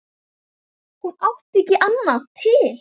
Hún átti ekki annað til.